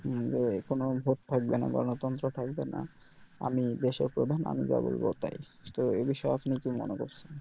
যে কোনও ভোট থাকবে না গণতন্ত্র থাকবে না আমি দেশের প্রধান আমি যা বলব তাই তো এই বিষয়ে আপনি কি মনে করছেন